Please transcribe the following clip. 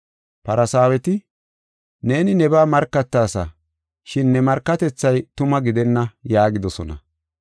Farsaaweti, “Neeni nebaa markataasa, shin ne markatethay tuma gidenna” yaagidosona.